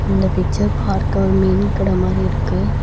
இந்த பிக்சர் பார்க்க ஒரு மீன் கட மாரி இருக்கு.